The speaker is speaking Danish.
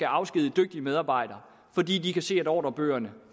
afskedige dygtige medarbejdere fordi de kan se at ordrebøgerne